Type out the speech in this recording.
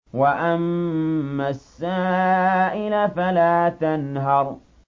وَأَمَّا السَّائِلَ فَلَا تَنْهَرْ